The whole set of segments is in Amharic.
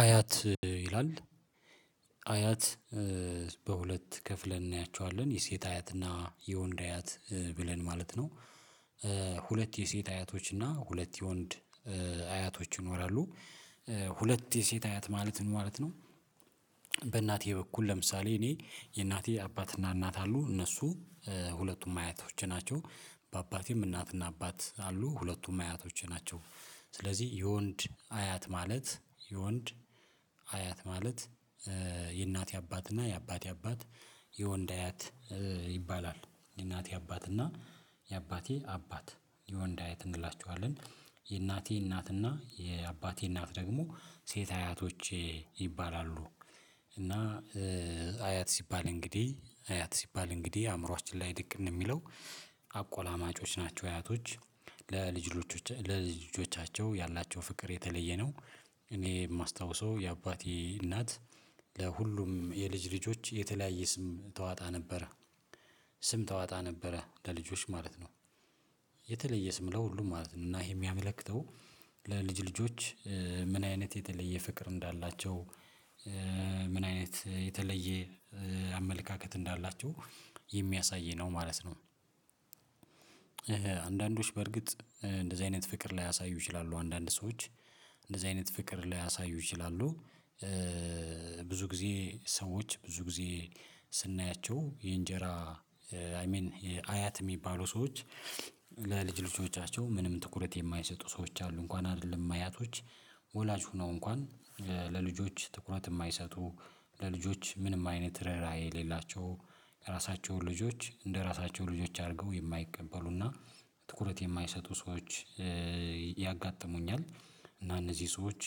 አያት ይላል አያት በሁለት ከፍለን እናያቸዋለን የሴት አያትና የወንድ አያት ብለን ማለት ነው ሁለት የሴት አያቶችና ሁለት የወንድ አያቶች ይኖራሉ ሁለት የሴት አያት ማለት ምን ማለት ነው በእናቴ በኩል ለምሳሌ እኔ የእናቴ አባትና እናት አሉ እነሱ ሁለቱም አያቶች ናቸው በአባቴም እናትና አባት አሉ ሁለቱም አያቶች ናቸው ስለዚህ የወንድ አያት ማለት የወንድ አያት ማለት የእናቴ አባት እና የአባቴ አባት የወንድ አያት ይባላል የእናቴ አባት እና የአባቴ አባት የወንድ አያት እንላቸዋለን የእናቴ እናትና የአባቴ እናት ደግሞ ሴት አያቶቼ ይባላሉ እና አያት ሲባል እንግዲህ አያት ሲባል እንግዲህ አእምሮአችን ላይ ድቅን የሚለው አቆላማጮች ናቸው እያቶች ለልጅ ልጆቻቸው ያላቸው ፍቅር የተለየ ነው እኔ የማስታውሰው የአባቴ እናት ለሁሉም የልጅ ልጆች የተለያየ ስም ታወጣ ነበረ ስም ተዋጣ ነበረ ለልጆች ማለት ነው የተለየ ስም ለሁሉም ማለት ነው እና ይሄ የሚያመለክተው ለልጅ ልጆች ምን አይነት የተለየ ፍቅር እንዳላቸው ምን አይነት የተለየ አመለካከት እንዳላቸው የሚያሳይ ነው ማለት ነው አንዳንዶች በርግጥ እንደዚህ አይነት ፍቅር ላያሳዩ ይችላሉ አንዳንድ ሰዎች እንደዚህ አይነት ፍቅር ላያሳዩ ይችላሉ፤ ብዙ ጊዜ ሰዎች ብዙ ጊዜ ስናያቸው የእንጀራ አይ ሚን አያት የሚባሉ ሰዎች ለልጅ ልጆቻቸው ምንም ትኩረት የማይሰጡ ሰዎች አሉ እንኳን አይደለም አያቶች ወላጅ ሆነው እንኳን ለልጆች ትኩረት የማይሰጡ ለልጆች ምንም አይነት ርህራሄ የሌላቸው ለራሳቸው ልጆች እንደራሳቸው ልጆች አድርገው የማይቀበሉና ትኩረት የማይሰጡ ሰዎች ያጋጥሙኛል እና እነዚህ ሰዎች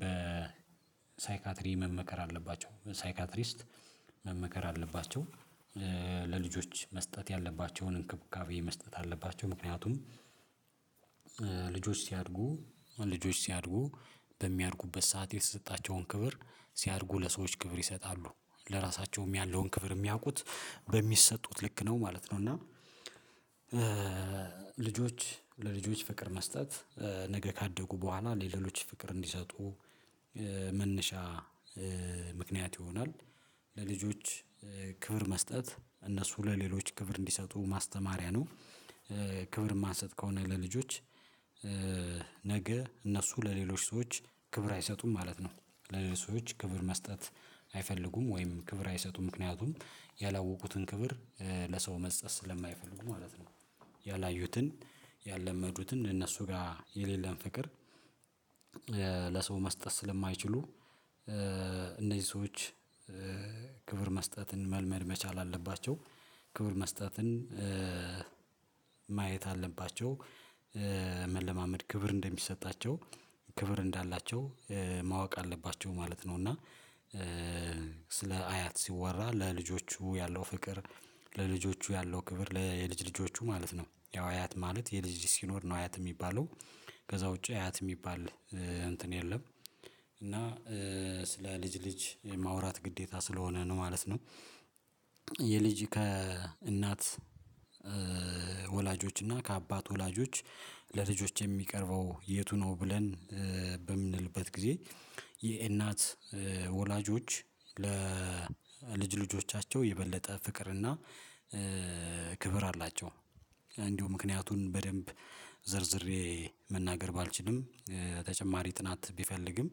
በሳይካትሪ መመከር አለባቸው ሳይካትሪስት መመከር አለባቸው ለልጆች መስጠት ያለባቸውን እንክብካቤ መስጠት አለባቸው ምክንያቱም ልጆች ሲያድጉ ልጆች ሲያድጉ በሚያድጉበት ሰዓት የተሰጣቸውን ክብር ሲያድጉ ለሰዎች ክብር ይሰጣሉ፤ ለራሳቸውም ያለውን ክፍል የሚያውቁት በሚሰጡት ልክ ነው ማለት ነው እና ልጆች ለልጆች ፍቅር መስጠት ነገ ካደጉ በኋላ ለሌሎች ፍቅር እንዲሰጡ መነሻ ምክንያት ይሆናል፤ ለልጆች ክብር መስጠት እነሱ ለሌሎች ክብር እንዲሰጡ ማስተማሪያ ነው ክብር ማንሰጥ ከሆነ ለልጆች ነገ እነሱ ለሌሎች ሰዎች ክብር አይሰጡም ማለት ነው ለሌሎች ሰዎች ክብር መስጠት አይፈልጉም ወይም ክብር አይሰጡም ምክንያቱም ያላወቁትን ክብር ለሰው መስጠት ስለማይፈልጉ ማለት ነው ያላዩትን ያለመዱትን እነሱ ጋር የሌለን ፍቅር ለሰው መስጠት ስለማይችሉ እነዚህ ሰዎች ክብር መስጠትን መልመድ መቻል አለባቸው፤ ክብር መስጠትን ማየት አለባቸው መለማመድ ክብር እንደሚሰጣቸው ክብር እንዳላቸው ማወቅ አለባቸው ማለት ነው እና ስለ አያት ሲወራ ለልጆቹ ያለው ፍቅር ለልጆቹ ያለው ክብር ለየልጅ ልጆቹ ማለት ነው ያው አያት ማለት የልጅ ልጅ ሲኖር ነው አያት የሚባለው ከዛ ውጪ አያት የሚባል እንትን የለም እና ስለ ልጅ ልጅ የማውራት ግዴታ ስለሆነ ነው ማለት ነው፤ የልጅ ከእናት ወላጆች እና ከአባት ወላጆች ለልጆች የሚቀርበው የቱ ነው ብለን በምንልበት ጊዜ የእናት ወላጆች ለ ለልጅ ልጆቻቸው የበለጠ ፍቅርና ክብር አላቸው እንዲሁ ምክንያቱን በደንብ ዘርዝሬ መናገር ባልችልም ተጨማሪ ጥናት ቢፈልግም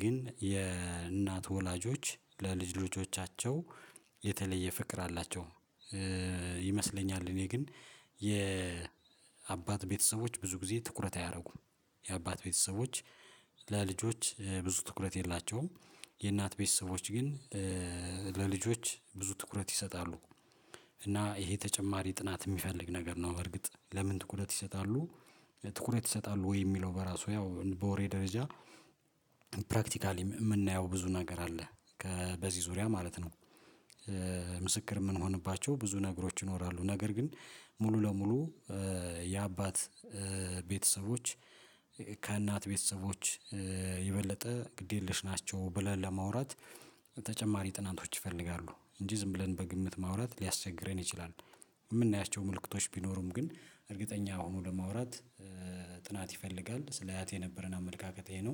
ግን የእናት ወላጆች ለልጅ ልጆቻቸው የተለየ ፍቅር አላቸው ይመስለኛል እኔ ግን የአባት ቤተሰቦች ብዙ ጊዜ ትኩረት አያደርጉም፤ የአባት ቤተሰቦች ለልጆች ብዙ ትኩረት የላቸውም የእናት ቤተሰቦች ግን ለልጆች ብዙ ትኩረት ይሰጣሉ፤ እና ይሄ ተጨማሪ ጥናት የሚፈልግ ነገር ነው በርግጥ ለምን ትኩረት ይሰጣሉ ትኩረት ይሰጣሉ ወይ የሚለው በራሱ ያው በወሬ ደረጃ ፕራክቲካሊ የምናየው ብዙ ነገር አለ በዚህ ዙሪያ ማለት ነው ምስክር የምንሆንባቸው ብዙ ነገሮች ይኖራሉ ነገር ግን ሙሉ ለሙሉ የአባት ቤተሰቦች ከእናት ቤተሰቦች የበለጠ ግድ የለሽ ናቸው ብለን ለማውራት ተጨማሪ ጥናቶች ይፈልጋሉ እንጂ ዝም ብለን በግምት ማውራት ሊያስቸግረን ይችላል የምናያቸው ምልክቶች ቢኖሩም ግን እርግጠኛ ሆኖ ለማውራት ጥናት ይፈልጋል ስለ አያት የነበረን አመለካከት ይሄ ነው።